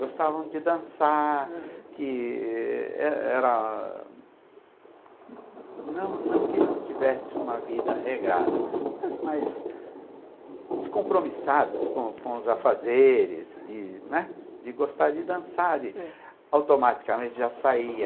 Gostavam de dançar, aham, que é era não não que não tivesse uma vida regrada, mas, mais descompromissados com com os afazeres, de, né, de gostar de dançar, automaticamente já saía.